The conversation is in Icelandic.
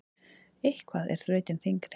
Eitthvað er þrautin þyngri